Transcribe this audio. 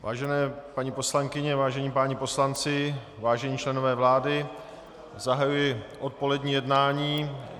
Vážené paní poslankyně, vážení páni poslanci, vážení členové vlády, zahajuji odpolední jednání.